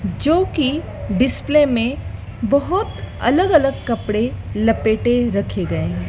जो की डिस्प्ले में बहोत अलग अलग कपड़े लपेटे रखे गए हैं।